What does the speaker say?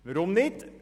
Weshalb denn nicht?